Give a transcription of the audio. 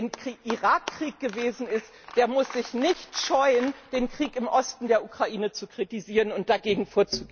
Wer gegen den Irakkrieg gewesen ist, der muss sich nicht scheuen, den Krieg im Osten der Ukraine zu kritisieren und dagegen vorzugehen.